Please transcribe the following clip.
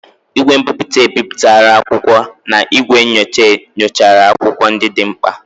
igwe mbiputa ebipụtara akwụkwọ na igwe nyocha nyochara akwụkwọ ndị dị mkpa.